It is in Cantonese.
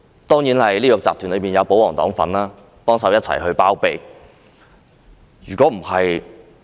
當然，這個集團中亦有保皇黨幫忙一起包庇。